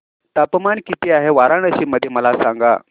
तापमान किती आहे वाराणसी मध्ये मला सांगा